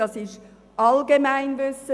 Dies ist allgemein bekannt.